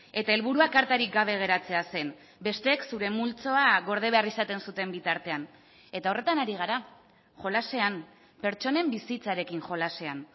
eta helburua kartarik gabe geratzea zen besteek zure multzoa gorde behar izaten zuten bitartean eta horretan ari gara jolasean pertsonen bizitzarekin jolasean